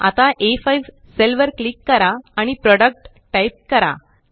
आता आ5 सेल वर क्लिक करा आणि प्रोडक्ट टाइप करा